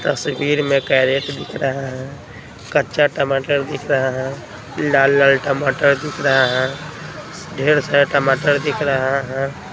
तस्वीर में कैरेट दिख रहा है कच्चा टमाटर दिख रहा है लाल लाल टमाटर दिख रहा है ढेर सारे टमाटर दिख रहा है।